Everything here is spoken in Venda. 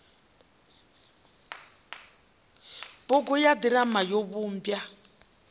bugu ya ḓirama yo vhumbwa